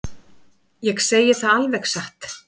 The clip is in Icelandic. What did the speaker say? Ég segi það alveg satt.